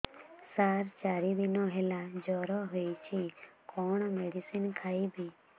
ସାର ଚାରି ଦିନ ହେଲା ଜ୍ଵର ହେଇଚି କଣ ମେଡିସିନ ଖାଇବି